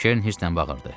Keren hirslə bağırırdı.